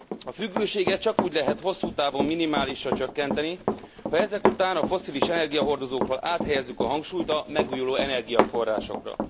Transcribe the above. A függőséget csak úgy lehet hosszú távon minimálisra csökkenteni, ha ezek után a fosszilis energiahordozókról áthelyezzük a hangsúlyt a megújuló energiaforrásokra.